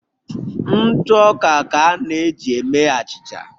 ntụ ọka ka a na eji eme achịcha